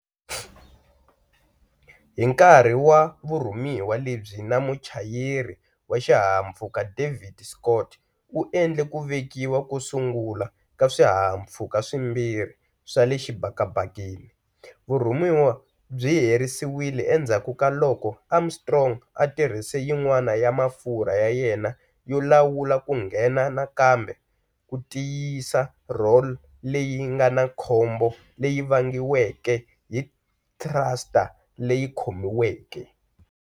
Hi nkarhi wa vurhumiwa lebyi na muchayeri wa xihahampfhuka David Scott, u endle ku vekiwa ko sungula ka swihahampfhuka swimbirhi swa le xibakabakeni, vurhumiwa byi herisiwile endzhaku ka loko Armstrong a tirhise yin'wana ya mafurha ya yena yo lawula ku nghena nakambe ku tiyisisa roll leyi nga na khombo leyi vangiweke hi thruster leyi khomiweke.